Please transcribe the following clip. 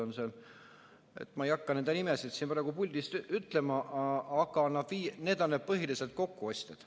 Ma ei hakka nende nimesid siit puldist ütlema, aga need on need põhilised kokkuostjad.